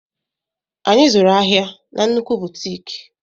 Anyị zụrụ ahịa na nnukwu butiiki.